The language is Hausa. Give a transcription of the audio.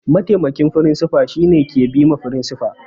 Mataimakin firinsifa shine ke bima firinsifa